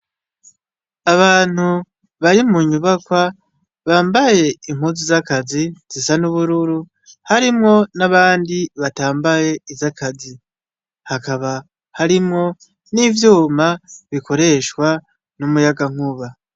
Abantu bari mu nyubakwa bambaye impuzu z'akazi zisa n'ubururu harimwo n'abandi batambaye iz'akazi hakaba harimwo n'ivyuma bikoreshwa n'umuyagankuba.